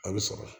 A bɛ sɔrɔ